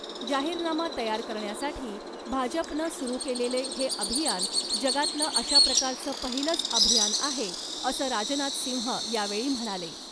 जाहीरनामा तयार करण्यासाठी भाजपनं सुरु केलेले हे अभियान जगातलं अशाप्रकारचं पहिलंच अभियान आहे असं राजनाथ सिंह यावेळी म्हणाले .